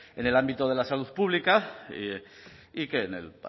en el ámbito de la salud pública y que el